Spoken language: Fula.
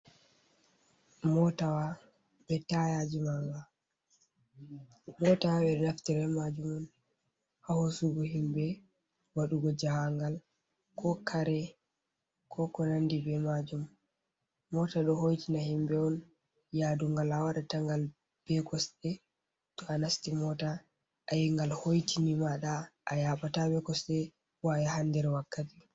Motawa be tayiji maanga, mota ɓe ɗo naftira be majum on ha hoosugo himɓe waɗugo jahangal kare ko konandi be majum, mota ɗo hoitina himɓe on yaadu ngal a waɗan ta ngal be kosɗe to a nasti mota ayingal hoitini kini mada a yaɓata be kosɗe bo a yaha nder wakkati.